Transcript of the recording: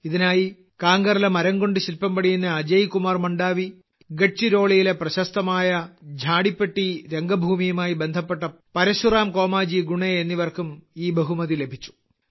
ഇതിനായി കാങ്കറിലെ മരംകൊണ്ട് ശില്പം പണിയുന്ന അജയ്കുമാർ മണ്ഡാവി ഗഡ്ചിരോളിയിലെ പ്രശസ്തമായ ഝാടിപ്പട്ടി രംഗഭൂമിയുമായി ബന്ധപ്പെട്ട പരശുറാം കോമാജി ഗുണെ എന്നിവർക്കും ഈ ബഹുമതി ലഭിച്ചു